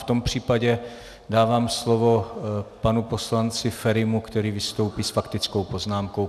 V tom případě dávám slovo panu poslanci Ferimu, který vystoupí s faktickou poznámkou.